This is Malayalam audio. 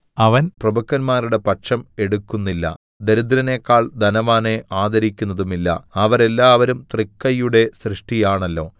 അവൻ പ്രഭുക്കന്മാരുടെ പക്ഷം എടുക്കുന്നില്ല ദരിദ്രനെക്കാൾ ധനവാനെ ആദരിക്കുന്നതുമില്ല അവരെല്ലാവരും തൃക്കൈയുടെ സൃഷ്ടിയാണല്ലോ